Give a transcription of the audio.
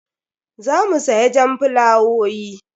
Za mu siya jan fulawowi.